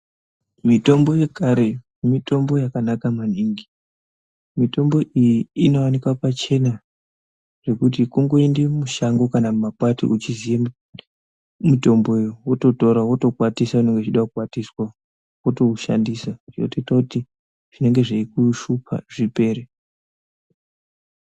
Mitombo yekare mitombo yakanaka maningi mitombo iyi inowanikwa pachena pekuti kungoenda mumashango kana mumakwati uchiziva mitombo iyi wototora wotokwatisa kana uchida kukwatisa wotoshandisa yotoita kuti zvinenge zveikushupa zvipere.